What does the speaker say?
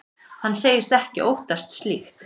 Hann segist ekki óttast slíkt.